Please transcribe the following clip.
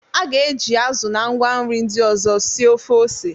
A ga-eji azụ na ngwa nri ndị ọzọ sie ofe ose.